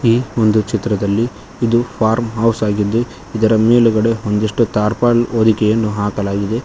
ಈ ಒಂದು ಚಿತ್ರದಲ್ಲಿ ಇದು ಫಾರ್ಮ್ ಹೌಸ್ ಆಗಿದ್ದು ಇದರ ಮೇಲ್ಗಡೆ ಒಂದಿಷ್ಟು ಟಾರ್ಪಲ್ ಹೊದಿಕೆಯನ್ನು ಹಾಕಲಾಗಿದೆ.